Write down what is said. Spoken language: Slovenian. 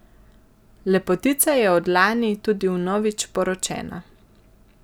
Lepotica je od lani tudi vnovič poročena.